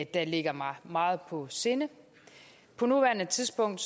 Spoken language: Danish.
der ligger mig meget på sinde på nuværende tidspunkt